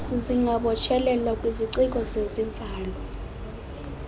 zingabotshelelwa kwiziciko zezivalo